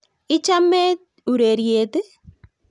Ichamet ureryet